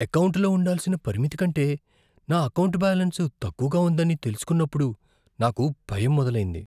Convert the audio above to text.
ఎకౌంటులో ఉండాల్సిన పరిమితి కంటే నా ఎకౌంటు బ్యాలెన్స్ తక్కువగా ఉందని తెలుసుకున్నప్పుడు నాకు భయం మొదలైంది.